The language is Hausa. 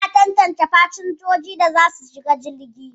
Ana tantance fasinjojin da za su shiga jirgi.